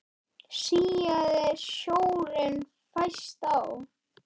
Síaði sjórinn fæst á